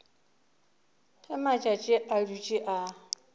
ge matšatši a dutše a